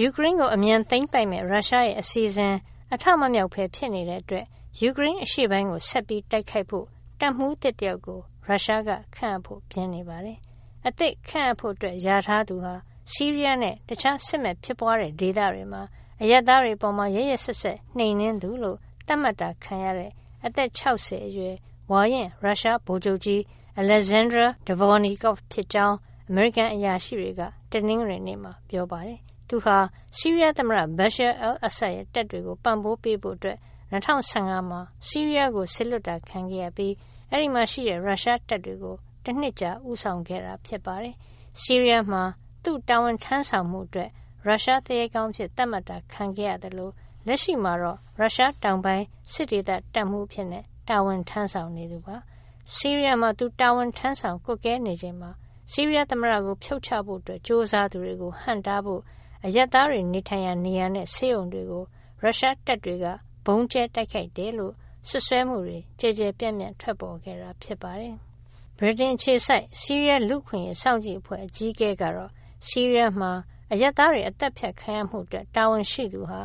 ယူကရိန်းကို အမြန်သိမ်းပိုက်မယ့် ရုရှားရဲ့ အစီအစဉ် အထမမြောက်ဘဲ ဖြစ်နေတဲ့အတွက် ယူကရိန်းအရှေ့ပိုင်းကို ဆက်ပြီးတိုက်ခိုက်ဖို့ တပ်မှူးသစ်တယောက်ကို ရုရှားက ခန့်အပ်ဖို့ ပြင်နေပါတယ်။ အသစ်ခန့်အပ်ဖို့ လျာထားသူဟာ ဆီးရီးယားနဲ့ တခြား စစ်မက်ဖြစ်ပွားတဲ့ ဒေသတွေမှာ အရပ်သားတွေအပေါ် ရက်ရက်စက်စက် နှိမ်နင်းသူလို့ သတ်မှတ်ခံရတဲ့ အသက် ၆၀ အရွယ် ဝါရင့် ရုရှားဗိုလ်ချုပ်ကြီး Alexander Dvornikov ဖြစ်ကြောင်း အမေရိကန် အရာရှိတွေက တနင်္ဂနွေနေ့မှာ ပြောပါတယ်။ သူဟာ ဆီးရီးယားသမ္မတ Bashar al-Assad ရဲ့ တပ်တွေကို ပံ့ပိုးပေးဖို့ ၂၀၁၅ မှာ ဆီးရီးယားကို စေလွှတ်တာ ခံခဲ့ရပြီး အဲဒီမှာရှိတဲ့ ရုရှားတပ်တွေကို တနှစ်ကြာ ဦးဆောင်ခဲ့တာ ဖြစ်ပါတယ်။ ဆီးရီးယားမှာ သူတာဝန်ထမ်းဆောင်မှုအတွက် ရုရှားသူရဲကောင်းအဖြစ် သတ်မှတ်တာ ခံခဲ့ရသလို လက်ရှိမှာတော့ ရုရှားတောင်ပိုင်း စစ်ဒေသ တပ်မှူးအဖြစ် တာဝန်ထမ်းဆောင်နေသူ ဖြစ်ပါတယ်။ ဆီးရီးယားမှာ သူတာဝန်ထမ်းဆောင် ကွပ်ကဲနေချိန်မှာ ဆီးရီးယားသမ္မတကို ဖြုတ်ချဖို့ ကြိုးစားသူတွေကို ဟန့်တားဖို့ အရပ်သားတွေ နေထိုင်ရာ နေရာနဲ့ ဆေးရုံတွေကို ရုရှားတပ်တွေက ဗုံးကြဲတိုက်ခိုက်တယ်လို့ စွပ်စွဲမှုတွေ ကျယ်ကျယ်ပြန့်ပြန့် ထွက်ပေါ်ခဲ့တာ ဖြစ်ပါတယ်။ ဗြိတိန်အခြေစိုက် ဆီးရီးယား လူ့အခွင့်အရေး စောင့်ကြည့်အဖွဲ့ အကြီးအကဲ Rami Abdulrahman ကတော့ ဆီးရီးယားမှာ အရပ်သားတွေ သတ်ဖြတ်ခံရမှုအတွက် တာဝန်ရှိသူဟာ